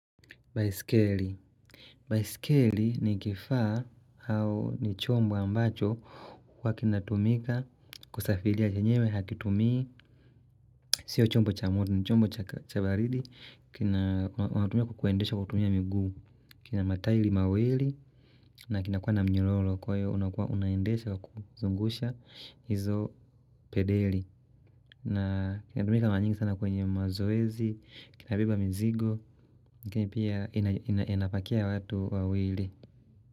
Baisikeli. Baisikeli ni kifaa au ni chombo ambacho kwa kinatumika kusafilia chenyewe hakitumii Sio chombo cha moto ni chombo cha baridi kina mataili mawili na kinakua na mnyororo kwaiyo unakua unaendesha kuzungusha hizo pedeli. Na kinadumika mara nyingi sana kwenye mazoezi, kinabeba mzigo, lakini pia inapakia watu wawili.